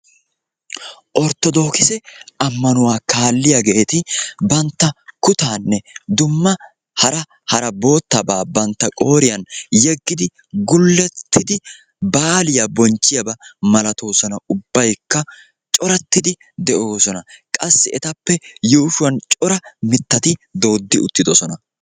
orttodookisse ammanuwaa kaalliyaageeti banttaa kutaanne dumma hara hara boottaba bantta qooriyaan yeggidi gullettidi baaliyaa bonchchiyaaba malatoosona. qassi etappe yuushshuwan cora mittati doodi uttidoosona.